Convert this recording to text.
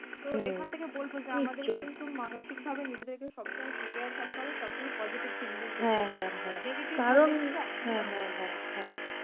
তো এখান থেকে বলব আমাদের কিন্তু মানসিকভাবে নিজেদেরকে সবসময় prepare থাকতে হবে সবসময় postive thinking negative থাকলে কিন্তু একদমই হবে না,